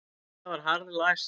Það var harðlæst.